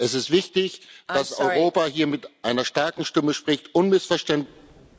Es ist wichtig, dass Europa hier mit einer starken Stimme spricht, unmissverständlich